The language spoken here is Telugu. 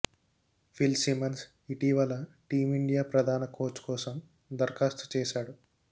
ఫిల్ సిమన్స్ ఇటీవల టీమిండియా ప్రధాన కోచ్ కోసం దరఖాస్తు చేశాడు